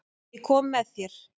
Ég kom með þér.